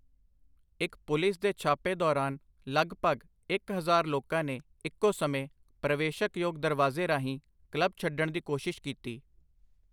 ਇੱਕ ਪੁਲਿਸ ਦੇ ਛਾਪੇ ਦੌਰਾਨ ਲਗਭਗ ਇਕ ਹਜ਼ਾਰ ਲੋਕਾਂ ਨੇ ਇੱਕੋ ਸਮੇਂ ਪ੍ਰਵੇਸ਼ਕਯੋਗ ਦਰਵਾਜ਼ੇ ਰਾਹੀਂ ਕਲੱਬ ਛੱਡਣ ਦੀ ਕੋਸ਼ਿਸ਼ ਕੀਤੀ।